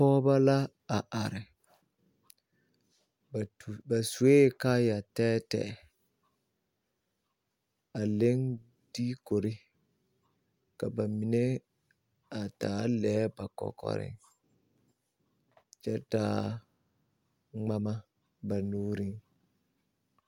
Pɔɔbɔ la a are ba sue kaayɛ tɛɛtɛɛ a leŋ diikuri ka ba mine a taa lɛɛ ba kɔkɔreŋ kyɛ taa ŋmama ba nuuriŋ.